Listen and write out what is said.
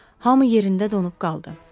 Hamı yerində donub qaldı.